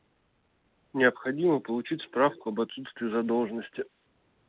необходимо получить справку об отсутствии задолженности